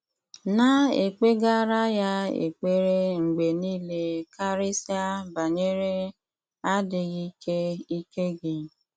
Na-ekpegara ya ekpere mgbe nile karịsịa banyere adịghị ike ike gị.